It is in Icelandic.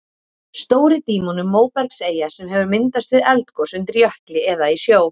Stóri-Dímon er móbergseyja sem hefur myndast við eldgos undir jökli eða í sjó.